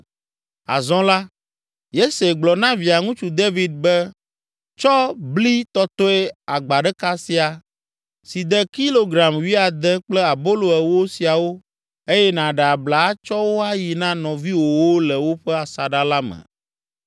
Azɔ la, Yese gblɔ na Via ŋutsu David be, “Tsɔ bli tɔtɔe agba ɖeka sia, si de kilogram wuiade kple abolo ewo siawo eye nàɖe abla atsɔ wo ayi na nɔviwòwo le woƒe asaɖa la me.